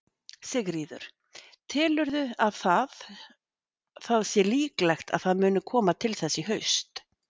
Sigríður: Telurðu að það, það sé líklegt að það muni koma til þess í haust?